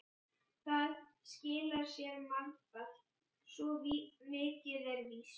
Það skilar sér margfalt, svo mikið er víst.